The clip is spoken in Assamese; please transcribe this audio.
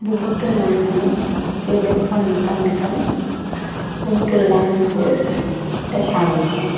বহুতো মানুহ কেইবে খন টমটম বহুতো লাইন পোষ্ট দেখা গৈছে।